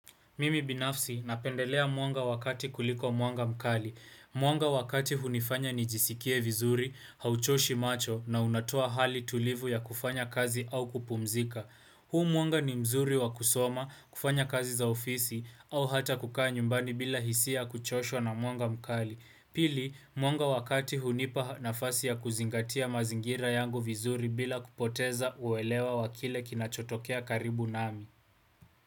Mimi binafsi napendelea mwanga wa kati kuliko mwanga mkali. Mwanga wa kati hunifanya nijisikie vizuri, hauchoshi macho na unatoa hali tulivu ya kufanya kazi au kupumzika. Huu mwanga ni mzuri wa kusoma, kufanya kazi za ofisi, au hata kukaa nyumbani bila hisia kuchoshwa na mwanga mkali. Pili, mwanga wa kati hunipa nafasi ya kuzingatia mazingira yangu vizuri bila kupoteza uelewa wa kile kinachotokea karibu nami.